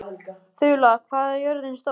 Þula, hvað er jörðin stór?